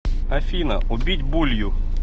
афина убить булью